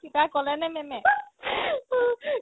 কিবা ক'লে নে ma'am য়ে